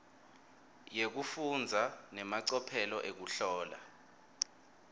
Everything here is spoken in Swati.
yekufundza nemacophelo ekuhlola